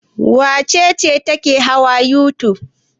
Wace ce take hawa youtube?